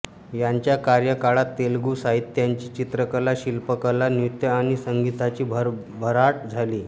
त्यांच्या कार्यकाळात तेलुगू साहित्याची चित्रकला शिल्पकला नृत्य आणि संगीताची भरभराट झाली